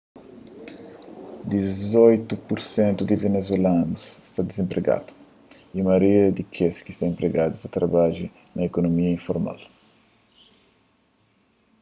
dizoitu pur sentu di venezuelanus sta dizenpregadu y maioria di kes ki sta enpregadu ta trabadja na ikunomia informal